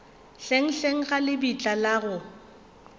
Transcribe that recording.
hlenghleng ga lebitla la go